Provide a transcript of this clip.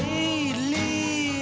í